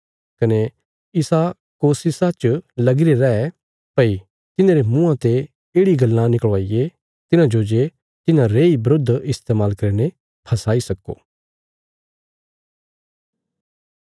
कने इसा कोशिशा च लगीरे रै भई तिन्हारे मुँआं ते येढ़ि गल्लां निकल़वायें तिन्हाजो जे तिन्हां रेई बरुध इस्तेमाल करीने फसाई सक्को